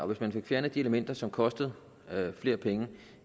hvis man får fjernet de elementer som koster flere penge